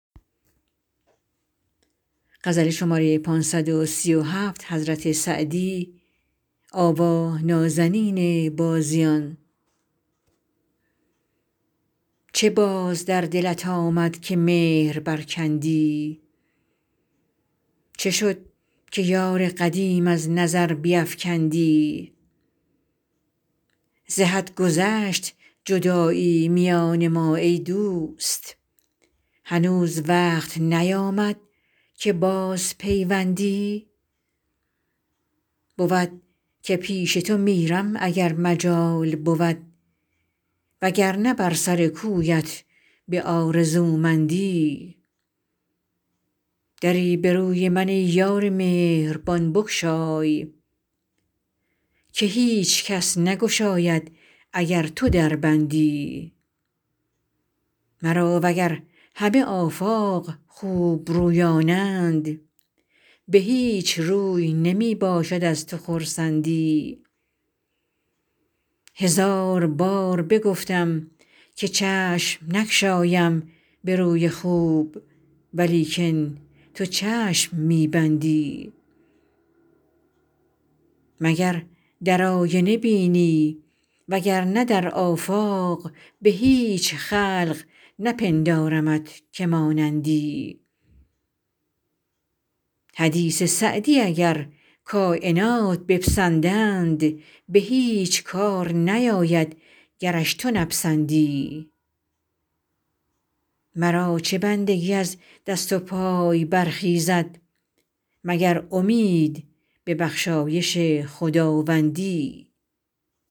چه باز در دلت آمد که مهر برکندی چه شد که یار قدیم از نظر بیفکندی ز حد گذشت جدایی میان ما ای دوست هنوز وقت نیامد که بازپیوندی بود که پیش تو میرم اگر مجال بود وگرنه بر سر کویت به آرزومندی دری به روی من ای یار مهربان بگشای که هیچ کس نگشاید اگر تو در بندی مرا وگر همه آفاق خوبرویانند به هیچ روی نمی باشد از تو خرسندی هزار بار بگفتم که چشم نگشایم به روی خوب ولیکن تو چشم می بندی مگر در آینه بینی وگرنه در آفاق به هیچ خلق نپندارمت که مانندی حدیث سعدی اگر کاینات بپسندند به هیچ کار نیاید گرش تو نپسندی مرا چه بندگی از دست و پای برخیزد مگر امید به بخشایش خداوندی